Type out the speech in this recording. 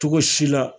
Cogo si la